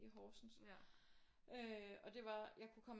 I Horsens øh det var jeg kunne komme